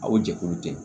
Aw jɛkulu tɛ